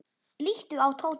Líttu á Tóta.